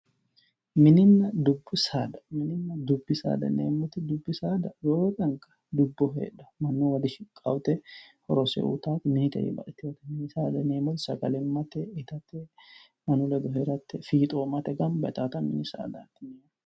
Mininna dubbi saada, mininna dubbi saada yineemmoti, dubbi saada roore anga dubboho heedhanote mannuwa dishiqqanote horose uyittanoti minitewi baxxitinote, mini saada yineemmoti sagalimmate ittate mannu ledo heerate fiixommate gamba yittanotta mini saadati.